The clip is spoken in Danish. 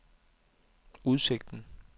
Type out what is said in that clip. udsigten